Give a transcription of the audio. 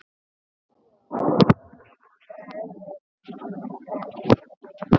Þér bregður hvergi fyrir.